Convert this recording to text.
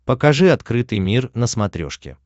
покажи открытый мир на смотрешке